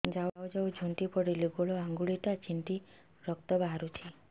ଯାଉ ଯାଉ ଝୁଣ୍ଟି ପଡ଼ିଲି ଗୋଡ଼ ଆଂଗୁଳିଟା ଛିଣ୍ଡି ରକ୍ତ ବାହାରୁଚି